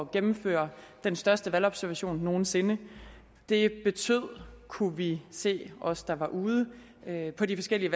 gennemføre den største valgobservation nogen sinde det betød kunne vi se os der var ude på de forskellige